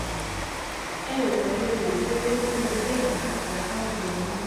ẹ ò kàn lè wò ó pé ó yẹ bẹ́ẹ̀ láti apá ọ̀dọ̀ yín